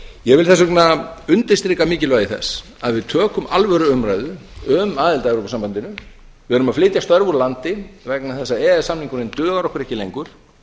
ég vil þess vegna undirstrika mikilvægi þess að við tökum alvöru umræðu um aðild að evrópusambandinu við erum að flytja störf úr landi vegna þess að e e s samningurinn dugar okkur ekki lengur